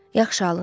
Yaxşı, alın.